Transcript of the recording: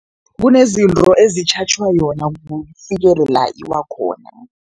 Kunezinto ezitjhatjhwa yona la iwa khona.